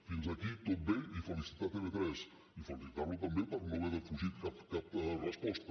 fins aquí tot bé i felicitar tv3 i felicitar lo també per no haver defugit cap resposta